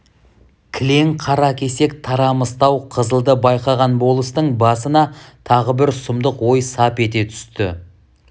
кілең қара кесек тарамыстау қызылды байқаған болыстың басына тағы бір сұмдық ой сап ете түсті